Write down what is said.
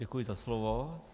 Děkuji za slovo.